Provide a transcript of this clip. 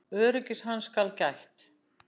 Öryggis hans skal gætt.